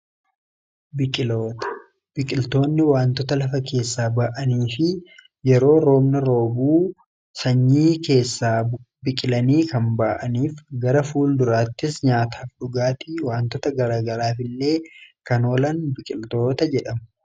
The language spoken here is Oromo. biqiltoonni wantoota lafa keessaa ba'anii fi yeroo roomna roobuu sanyii keessaa biqilanii kan baa'aniif gara fuul duraattis nyaataaf dhugaati wantoota garagaraaf illee kanoolan biqiltoota jedha